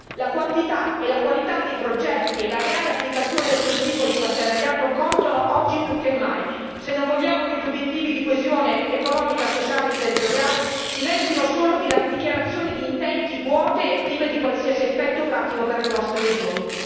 La quantità e la qualità dei progetti e la reale applicazione del principio di partenariato contano oggi più che mai se non vogliamo che gli obiettivi di coesione economica, sociale e territoriale diventino solo dichiarazioni di intenti vuote e prive di qualsiasi effetto pratico per le nostre regioni.